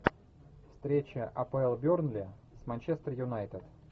встреча апл бернли с манчестер юнайтед